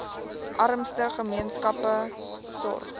armste gemeenskappe sorg